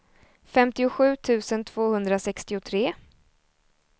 femtiosju tusen tvåhundrasextiotre